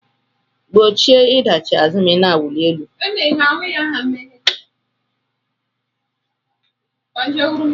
Gbochie ịdachi azụ ma ị na-awụli elu